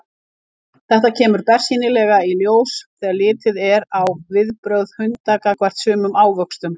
Þetta kemur bersýnilega í ljós þegar litið er á viðbrögð hunda gagnvart sumum ávöxtum.